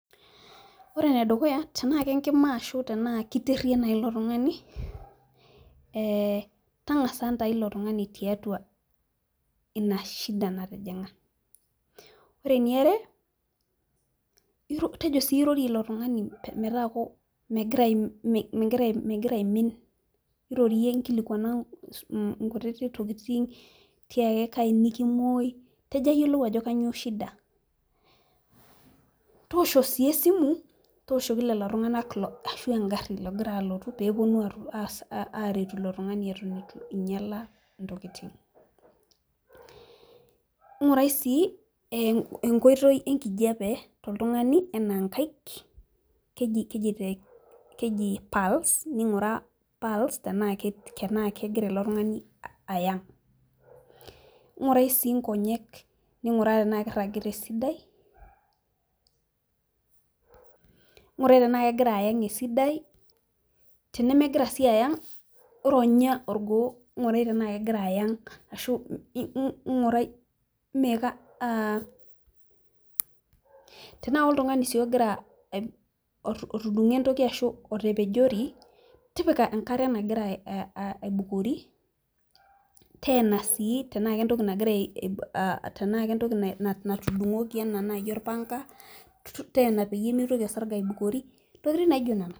ore enedukuya tenaa kenkima naaji ashu tenaa kiteria naa tang'asa intau ilotung'ani tiatua inashida natijing'a , ore eniare naa tejo siiyie airorie ilotung'ani metaa megira aimin irorie inkilikuana inkutiti tokitin, tiaki kaji nikimoi niyiolou ajo kanyio shida toosho sii esimu toliki lelotung'anak ashu egari pee epuonu aaretu ilotung'ani eton etu ing'iala intokitin, ing'urai sii enkoitoi enkijape toltung'ani enaa inkaik keji palm's teenaa ayang ning'uraa sii inkonyek, ning'uraa tenaa kiragita esidai, ng'urai tenaa kegira ayang' esidai tenemegirasii ayang' ironya orgoo tenaa koltung'ani otung'o entoki ashuu otepejori tipika enkare nagira aibukori ,teena sii tenaa kentoki natudung'oki enaa naaji orpanga tenaa pee mitoki orsarge aibukori intokitin naaijo nena.